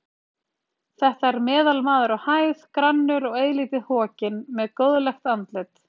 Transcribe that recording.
Þetta er meðalmaður á hæð, grannur og eilítið hokinn, með góðlegt andlit.